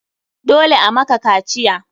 Dole a maka kaciya!